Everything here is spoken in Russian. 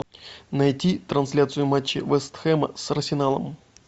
найти трансляцию матча вест хэм с арсеналом